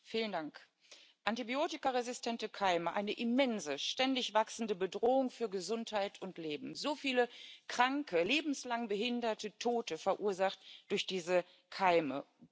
Frau Präsidentin! Antibiotikaresistente Keime eine immense, ständig wachsende Bedrohung für Gesundheit und Leben. So viele Kranke, lebenslang Behinderte, Tote verursacht durch diese Keime.